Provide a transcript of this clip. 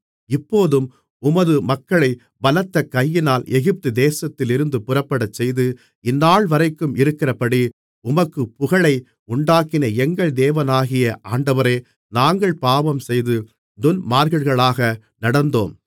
இப்போதும் உமது மக்களைப் பலத்த கையினால் எகிப்துதேசத்திலிருந்து புறப்படச்செய்து இந்நாள்வரைக்கும் இருக்கிறபடி உமக்குப் புகழை உண்டாக்கின எங்கள் தேவனாகிய ஆண்டவரே நாங்கள் பாவஞ்செய்து துன்மார்க்கர்களாக நடந்தோம்